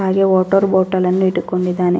ಹಾಗೆ water bottle ಅನ್ನು ಇಟ್ಟುಕೊಂಡಿದ್ದಾನೆ.